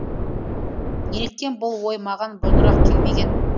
неліктен бұл ой маған бұрынырақ келмеген